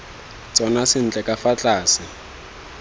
tsona sentle ka fa tlase